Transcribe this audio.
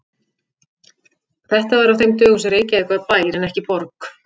Þetta var á þeim dögum sem Reykjavík var bær en ekki borg.